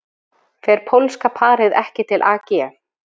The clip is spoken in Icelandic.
Fer pólska parið ekki til AG